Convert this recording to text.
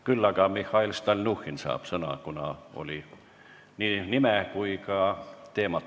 Sõna saab Mihhail Stalnuhhin, kuna nimetati tema nime ja ka käsitletavat teemat.